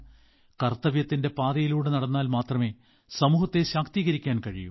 കർത്തവ്യത്തിന്റെ പാതയിലൂടെ നടന്നാൽ മാത്രമേ സമൂഹത്തെ ശാക്തീകരിക്കാൻ കഴിയൂ